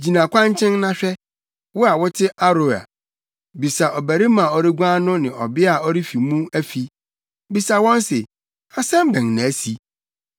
Gyina kwankyɛn na hwɛ, wo a wote Aroer. Bisa ɔbarima a ɔreguan no ne ɔbea a ɔrefi mu afi, bisa wɔn se, ‘Asɛm bɛn na asi?’